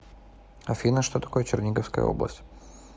афина что такое черниговская область